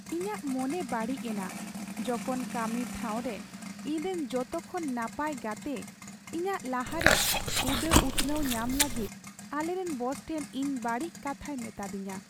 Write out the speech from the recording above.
ᱤᱧᱟᱹᱜ ᱢᱚᱱᱮ ᱵᱟᱹᱲᱤᱡ ᱮᱱᱟ ᱡᱚᱠᱷᱚᱱ ᱠᱟᱹᱢᱤ ᱴᱷᱟᱶᱨᱮ ᱤᱧᱨᱮᱱ ᱡᱚᱛᱚᱠᱷᱚᱱ ᱱᱟᱯᱟᱭ ᱜᱟᱛᱮ ᱤᱧᱟᱹᱜ ᱞᱟᱦᱟᱨᱮ ᱦᱩᱫᱟᱹ ᱩᱛᱱᱟᱹᱣ ᱧᱟᱢ ᱞᱟᱹᱜᱤᱫ ᱟᱞᱮᱨᱮᱱ ᱵᱚᱥ ᱴᱷᱮᱱ ᱤᱧ ᱵᱟᱹᱲᱤᱡ ᱠᱟᱛᱷᱟᱭ ᱢᱮᱛᱟᱹᱫᱤᱧᱟ ᱾